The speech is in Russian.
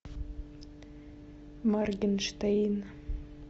моргенштерн